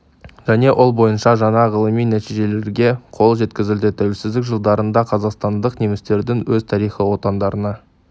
және ол бойынша жаңа ғылыми нәтижелерге қол жеткізілді тәуелсіздік жылдарында қазақстандық немістердің өз тарихи отандарына